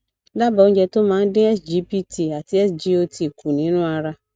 daba oúnjẹ tó máa dín sgpt àti sgot kù nínú ẹjẹ